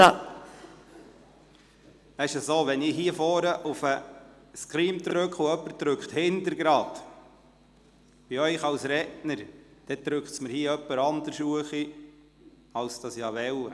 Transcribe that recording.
– Wenn ich hier vorne auf den Screen drücke, während jemand von Ihnen zeitgleich drückt, um sich als Redner anzumelden, wird jemand anderes auf die Liste gesetzt.